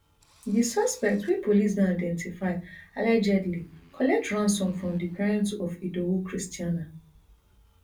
di suspect wey police don identify allegedly collect ransom from di parents of idowu christianah